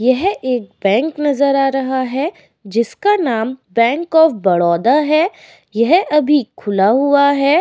यह एक बैंक नजर आ रहा है। जिसका नाम बैंक ऑफ़ बड़ौदा है। यह अभी खुला हुआ है।